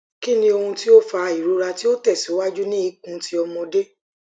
ki ni ohun ti o fa irora ti o tesiwaju ni ikun ti omode